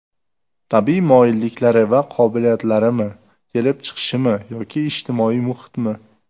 Tabiiy moyilliklari va qobiliyatlarimi, kelib chiqishimi yoki ijtimoiy muhitmi?